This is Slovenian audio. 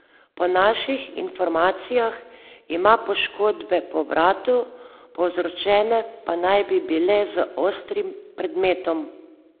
Po naših informacijah ima poškodbe po vratu, povzročene pa naj bi bile z ostrim predmetom.